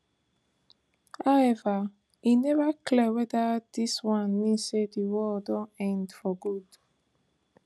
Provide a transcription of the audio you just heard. however e never clear weda dis one mean say di war don end for good